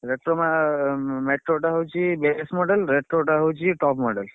Retro ମା metro ଟା ହଉଛି model ରେ retro ଟା ହଉଛି top model